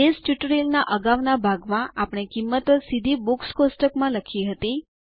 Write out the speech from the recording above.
base ટ્યુટોરીયલના અગાઉના ભાગમાં આપણે કિંમતો સીધી બુક્સ કોષ્ટકમાં લખી હતી